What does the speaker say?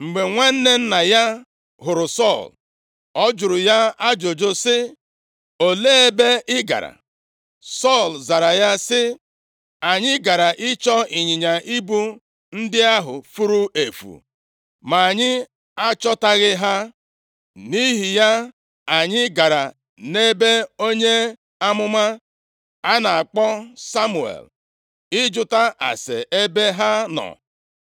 Mgbe nwanne nna ya hụrụ Sọl, ọ jụrụ ya ajụjụ sị, “Olee ebe ị gara?” Sọl zara ya sị, “Anyị gara ịchọ ịnyịnya ibu ndị ahụ furu efu, ma anyị achọtaghị ha, nʼihi ya anyị gara nʼebe onye amụma a na-akpọ Samuel ịjụta ase ebe ha nọ.”